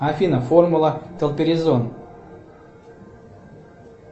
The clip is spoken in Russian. афина формула толперизон